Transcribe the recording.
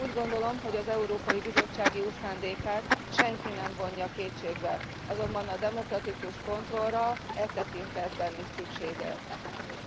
Úgy gondolom, hogy az Európai Bizottság jó szándékát senki sem vonja kétségbe, azonban a demokratikus kontrollra e tekintetben is szükség van.